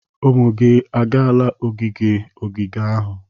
Ụmụ gị agaala ogige ogige ahu?